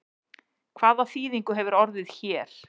Hvað þýðingu hefur orðið er hér?